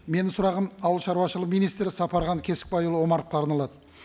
менің сұрағым ауылшаруашылық министрі сапархан кесікбайұлы омаровқа арналады